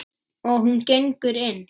Og hún gengur inn.